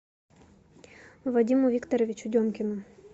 вадиму викторовичу демкину